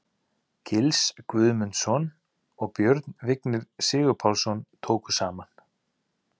Gils Guðmundsson og Björn Vignir Sigurpálsson tóku saman.